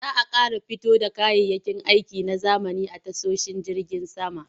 Za a ƙara fito da kayayyakin aiki na zamani a tashoshin jirgin sama.